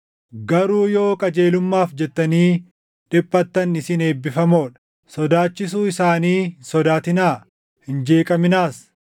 Garuu yoo qajeelummaaf jettanii dhiphattan isin eebbifamoo dha. “Sodaachisuu isaanii hin sodaatinaa; hin jeeqaminaas.” + 3:14 \+xt Isa 8:12\+xt*